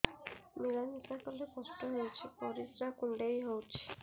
ମିଳା ମିଶା କଲେ କଷ୍ଟ ହେଉଚି ପରିସ୍ରା କୁଣ୍ଡେଇ ହଉଚି